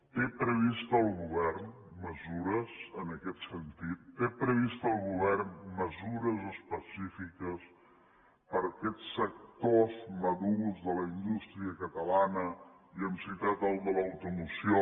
té previst el govern mesures en aquest sentit té previst el govern mesures específiques per a aquests sectors madurs de la indústria catalana i hem citat el de l’automoció